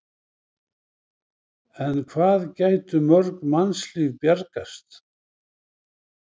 En hvað gætu mörg mannslíf bjargast?